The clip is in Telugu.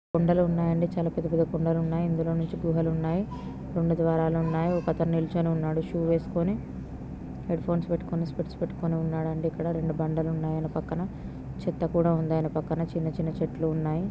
బండలున్నాయి అండి చాలా పెద్ద పెద్ద కొండలు ఉన్నాయి ఇందులోనుంచి గుహలున్నాయి రెండు ద్వారాలున్నాయి ఒకతను నిల్చొని ఉన్నాడు షూ వేసుకొని హెడ్‌ఫోన్స్ పెట్టుకొని స్పెక్ట్స్ పెట్టుకొని ఉన్నాడండి. అక్కడ రెండు బండలు ఉన్నాయి యెనకపక్కన చెట్టు కూడా ఉంది యెనక పక్కన చిన్న చిన్న చెట్లు ఉన్నాయి.